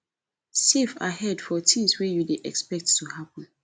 save ahead for things wey you dey expect to happen